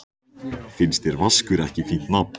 Finnst þér Vaskur ekki fínt nafn?